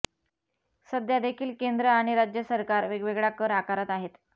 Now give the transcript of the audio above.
सध्यादेखील केंद्र आणि राज्य सरकार वेगवेगळा कर आकारत आहेत